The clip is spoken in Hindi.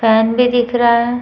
फैन भी दिख रहा है।